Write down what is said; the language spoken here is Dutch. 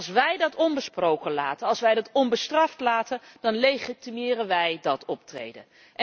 Als wij dat onbesproken laten, als wij dat onbestraft laten dan legitimeren wij dat optreden.